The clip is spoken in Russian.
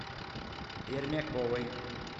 пермяковой